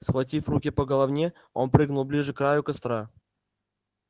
схватив в руки по головне он прыгнул ближе к краю костра